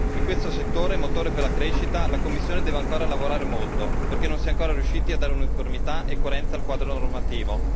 In questo settore, motore per la crescita, la Commissione deve ancora lavorare molto perché non si è ancora riusciti a dare uniformità e coerenza al quadro normativo.